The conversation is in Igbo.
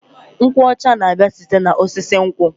Nkwụ ọcha na-abịa site n'osisi nkwụ.